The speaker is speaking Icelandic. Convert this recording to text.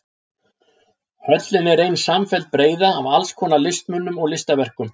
Höllin er ein samfelld breiða af alls konar listmunum og listaverkum.